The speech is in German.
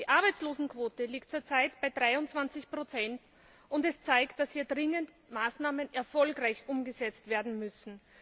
Die Arbeitslosenquote liegt zurzeit bei 23 und das zeigt, dass hier dringend Maßnahmen erfolgreich umgesetzt werden müssen.